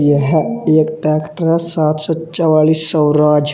यह एक ट्रैक्टर सातसौ चौआलीस साैराज--